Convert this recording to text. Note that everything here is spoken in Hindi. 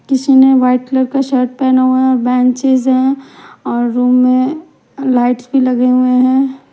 किसी ने वाइट कलर का शर्ट पहना हुआ है बेंचेस हैं और रूम में लाइट्स भी लगे हुए हैं।